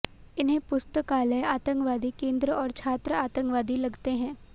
इन्हें पुस्तकालय आतंकवादी केन्द्र और छात्र आतंकवादी लगते हैं